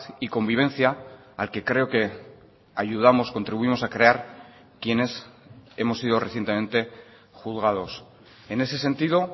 y convivencia al que creo que ayudamos contribuimos a crear quienes hemos sido recientemente juzgados en ese sentido